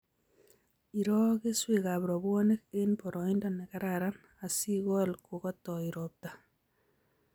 Iroo keswekab rabwonik eng boroindo nekararan asikol kokotoi robta